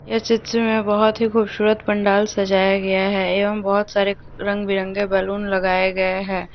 यह चित्र में बहोत ही खूबसूरत पंडाल सजाया गया है एवं बहुत सारे रंग बिरंगे बैलून लगाएं गए हैं।